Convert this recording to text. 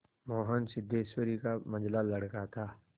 मोहन सिद्धेश्वरी का मंझला लड़का था